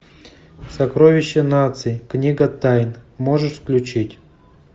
сокровище нации книга тайн можешь включить